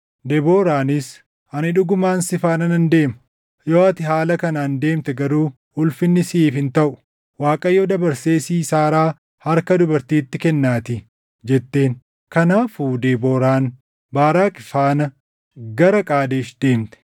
Debooraanis, “Ani dhugumaan si faana nan deema. Yoo ati haala kanaan deemte garuu ulfinni siʼiif hin taʼu; Waaqayyo dabarsee Siisaaraa harka dubartiitti kennaatii” jetteen. Kanaafuu Debooraan Baaraaqi faana gara Qaadesh deemte;